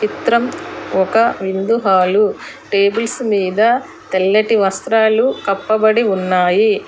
చిత్రం ఒక విందు హాలు టేబుల్స్ మీద తెల్లటి వస్త్రాలు కప్పబడి ఉన్నాయి.